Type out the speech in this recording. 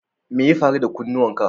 Me ya faru da kunnuwan ka?